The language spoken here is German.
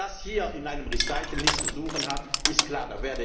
Dass das hier in einer Erwägung nichts zu suchen hat, ist klar.